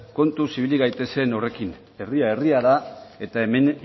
kontuz ibili gaitezen horrekin herria herria da eta hemen